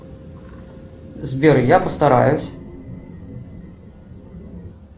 сбер я постараюсь